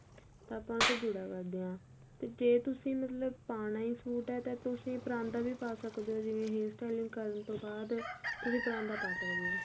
ਤਾਂ ਆਪਾਂ ਉੱਥੇ ਜੂੜਾ ਕਰਦੇ ਆ ਤੇ ਜੇ ਤੁਸੀਂ ਮਤਲਬ ਪਾਣਾ ਈ suite ਏ ਤੁਸੀਂ ਪਰਾਂਦਾ ਵੀ ਪਾ ਸਕਦੇ ਓ ਜਿਵੇਂ hair styling ਕਰਨ ਤੋਂ ਬਾਅਦ ਤੁਸੀਂ ਪਰਾਂਦਾ ਪਾ ਸਕਦੇ ਓ